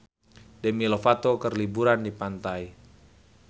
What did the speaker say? Demi Lovato keur liburan di pantai